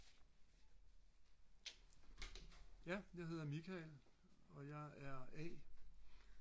ja jeg hedder Michael og jeg er a